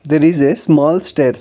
there is a small stairs.